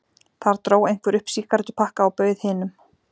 Þar dró einhver upp sígarettupakka og bauð hinum.